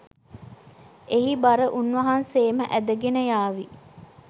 එහි බර උන් වහන්සේම ඇදගෙන යාවි